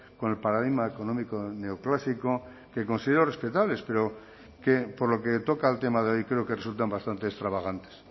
con el paradigma económico neoclásico que considero respetables pero que por lo que toca al tema de hoy creo que resultan bastante extravagantes